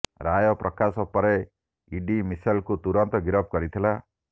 ରାୟ ପ୍ରକାଶ ପରେ ଇଡି ମିସେଲଙ୍କୁ ତୁରନ୍ତ ଗିରଫ କରିଥିଲା